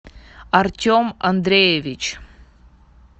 артем андреевич